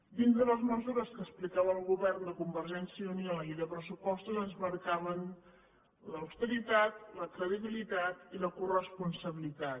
dins de les mesures que explicava el govern de convergència i unió en la llei de pressupostos ens marcàvem l’austeritat la credibilitat i la coresponsabilitat